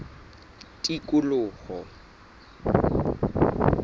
tikoloho